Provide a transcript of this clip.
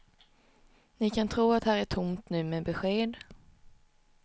Ni kan tro att här är tomt nu med besked.